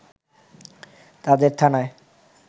তাদের থানায়